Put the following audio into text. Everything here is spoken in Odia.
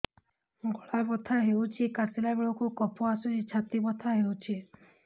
ଗଳା ବଥା ହେଊଛି କାଶିଲା ବେଳକୁ କଫ ଆସୁଛି ଛାତି ବଥା ହେଉଛି